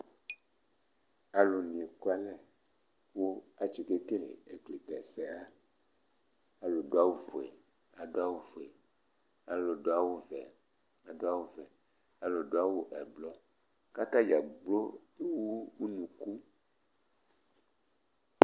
Alu ni ɛkʋalɛ kʋ atikekele ɛkutɛ se wa Alu du awu fʋe adu fʋe, alu du awu vɛ adu awu vɛ, alu du awu ɛblɔ kʋ atadza gblo ewu ʋnʋku